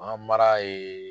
baganmara ye